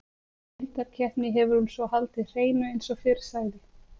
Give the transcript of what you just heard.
Í deildarkeppni hefur hún svo haldið hreinu eins og fyrr sagði.